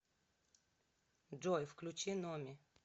джой включи номи